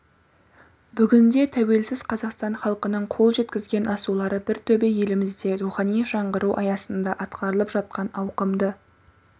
бүгінде тәуелсіз қазақстан халқының қол жеткізген асулары бір төбе елімізде рухани жаңғыру аясында атқарылып жатқан ауқымды